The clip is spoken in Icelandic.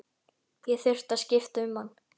Ég þurfti að skipta um hann.